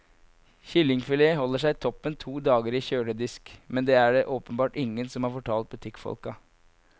Kyllingfilet holder seg toppen to dager i en kjøledisk, men det er det åpenbart ingen som har fortalt butikkfolka.